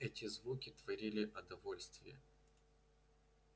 эти звуки творили о довольствее